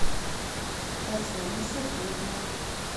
татьяне сергеевне